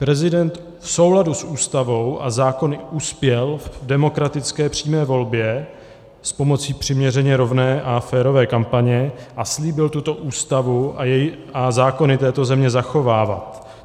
Prezident v souladu s Ústavou a zákony uspěl v demokratické přímé volbě s pomocí přiměřeně rovné a férové kampaně a slíbil tuto Ústavu a zákony této země zachovávat.